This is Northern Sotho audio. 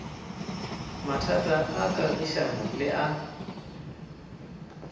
mathata a kagišano le a